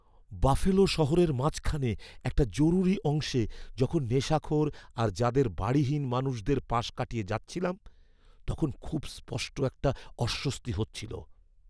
Buffalo শহরের মাঝখানে একটা জরুরি অংশে যখন নেশাখোর আর যাদের বাড়িহীন মানুষদের পাশ কাটিয়ে যাচ্ছিলাম, তখন খুব স্পষ্ট একটা অস্বস্তি হচ্ছিল।